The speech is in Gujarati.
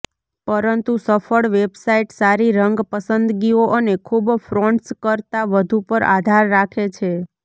પરંતુ સફળ વેબસાઇટ સારી રંગ પસંદગીઓ અને ખૂબ ફોન્ટ્સ કરતાં વધુ પર આધાર રાખે છે